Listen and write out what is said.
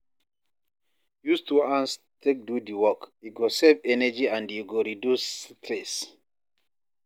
Use two hands take do the work, e go save energy and e go reduce stress